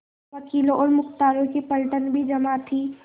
वकीलों और मुख्तारों की पलटन भी जमा थी